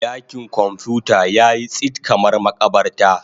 Dakin kwamfuta yayi tsit kamar makabarta.